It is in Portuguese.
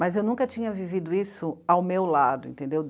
Mas eu nunca tinha vivido isso ao meu lado, entendeu?